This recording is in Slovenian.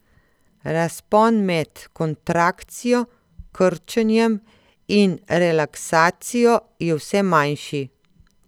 Razpon med kontrakcijo, krčenjem, in relaksacijo je vse manjši.